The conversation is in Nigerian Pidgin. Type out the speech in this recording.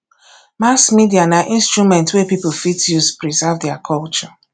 mass media na instrument wey pipo fit use preserve their culture